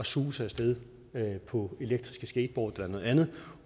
suse af sted på elektriske skateboards eller andet